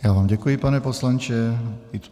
Já vám děkuji, pane poslanče.